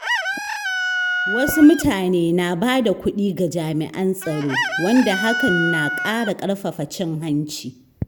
Wasu mutane na bada kuɗi ga jami'an tsaro, wanda hakan na ƙara ƙarfafa cin hanci.